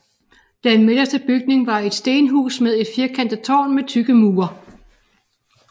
Den midterste bygning var et stenhus med et firkantet tårn med tykke mure